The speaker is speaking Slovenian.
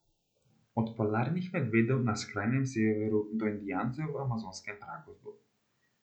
Od polarnih medvedov na skrajnem severu do indijancev v amazonskem pragozdu.